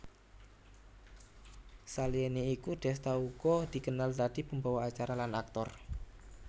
Saliyané iku Desta uga dikenal dadi pembawa acara lan aktor